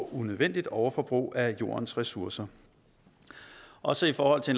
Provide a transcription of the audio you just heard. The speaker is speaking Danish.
unødvendigt overforbrug af jordens ressourcer også i forhold til